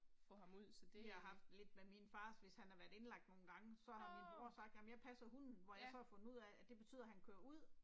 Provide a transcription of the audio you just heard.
Vi har haft lidt med min far hvis han har været indlagt nogle gange så har min bror sagt jamen jeg passer hunden hvor jeg så har fundet ud af at det betyder han kører ud